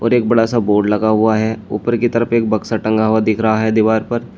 और एक बड़ा सा बोर्ड लगा हुआ है ऊपर की तरफ एक बक्सा टंगा हुआ दिख रहा है दीवार पर।